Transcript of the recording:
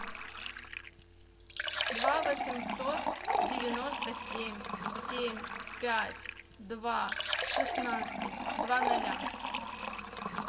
два восемьсот девяносто семь семь пять два шестнадцать два ноля